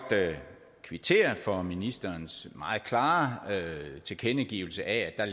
kvittere for ministerens meget klare tilkendegivelse af at der